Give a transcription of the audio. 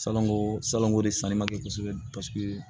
Salongo salonko de sanni ma kɛ kosɛbɛ paseke